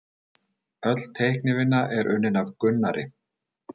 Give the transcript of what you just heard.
Öll teiknivinna er unnin af Gunnari